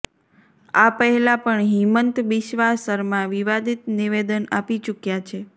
આ પહેલા પણ હિમંત બિસ્વા શર્મા વિવાદિત નિવેદન આપી ચુક્યા છે